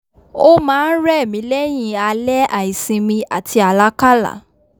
o máa n rẹ̀ mí lẹ́yìn alẹ́ àìsinmi àti àlákálá